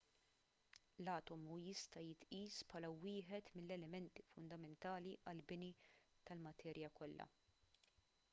l-atomu jista' jitqies bħala wieħed mill-elementi fundamentali għall-bini tal-materja kollha